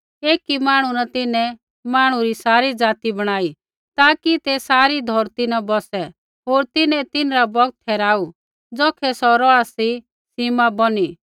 एकी मांहणु न तिन्हैं मांहणु री सारी ज़ाति बणाई ताकि ते सारी धौरती न बौसै होर तिन्हैं तिन्हरा बौगत ठहराऊ ज़ौखै सौ रौहा सी सीमा बौनी